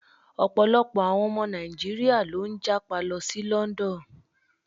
Ọ̀pọ̀lọpọ̀ àwọn ọmọ Nàíjíríà ló ń jápa lọ sí London.